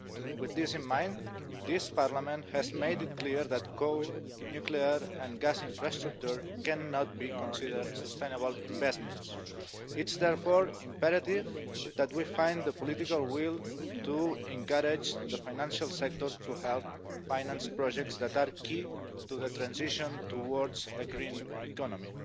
With this in mind, this Parliament has made it clear that coal, nuclear and gas infrastructure cannot be considered sustainable investments. It's therefore imperative that we find the political will to encourage the financial sector to help finance projects that are key to the transition towards a green economy.